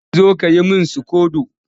Zan zo ka yi min sikodo